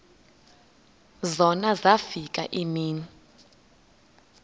zona zafika iimini